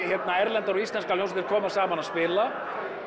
erlendar og íslenskar hljómsveitir koma saman að spila